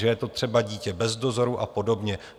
Že je to třeba dítě bez dozoru a podobně.